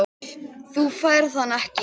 Þú færð hann ekki.